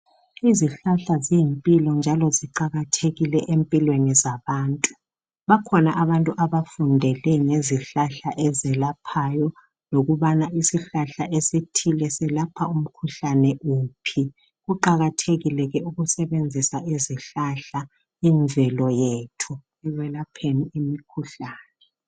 Izihlahla ziyimpilo njalo ziqakathekile empilweni zabantu bakhona abantu abafundele ngezihlahla ezelaphayo lokubana isihlahla esithile selapha umkhuhlane wuphi kuqakathekile ke ukusebenzisa izihlahla imvelo yethu ekwelapheni imikhuhlane.